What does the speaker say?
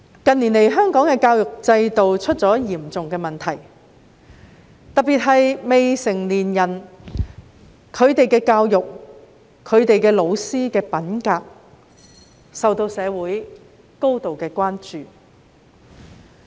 近年，香港的教育制度出現嚴重問題，特別是未成年人的教育及教師的品格，均受到社會的高度關注。